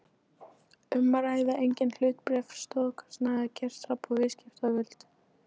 um að ræða eigin hlutabréf, stofnkostnað, gengistap og viðskiptavild.